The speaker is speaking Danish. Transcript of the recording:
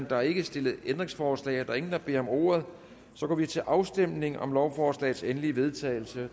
er ikke stillet ændringsforslag der er ingen der beder om ordet så går vi til afstemning om lovforslagets endelige vedtagelse